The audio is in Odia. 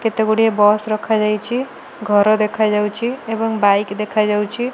କେତେ ଗୁଡ଼ିଏ ବସ ରଖାଯାଇଛି। ଘର ଦେଖାଯାଉଛି। ଏବଂ ବାଇକ ଦେଖାଯାଉଛି।